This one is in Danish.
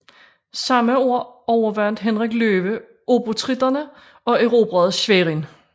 Samme år overvandt Henrik Løve obotritterne og erobrede Schwerin